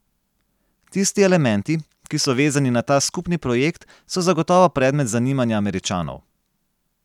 Tisti elementi, ki so vezani na ta skupni projekt, so zagotovo predmet zanimanja Američanov.